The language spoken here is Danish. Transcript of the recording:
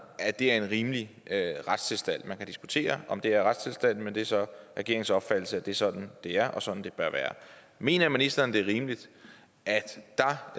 at det er en rimelig retstilstand man kan diskutere om det er retstilstanden men det er så regeringens opfattelse at det er sådan det er og sådan det bør være mener ministeren det er rimeligt er